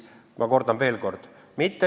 Ma kordan veel kord.